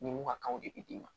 Ni mu ka kanw de be d'i ma